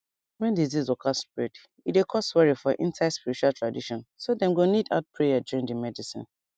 wen disease waka spread e dey cause worry for inside spiritual tradition so dem go need add prayer join di medicine